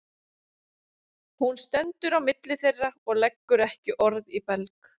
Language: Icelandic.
Hún stendur á milli þeirra og leggur ekki orð í belg.